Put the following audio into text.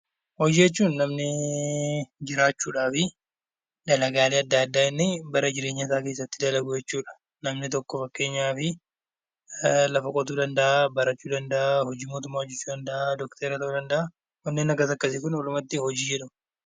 Hojii jechuun namni jiraachuudhaaf dalagaalee addaa addaa inni bara jireenya isaa keessatti dalagu jechuudha. Namni tokko fakkeenyaaf lafa qotuu danda'a, barachuu danda'a , hojii mootummaa hojjechuu danda'a, doktora ta'uu danda'a warreen akkasii akkasii Kun walumaa galatti hojii jedhamu.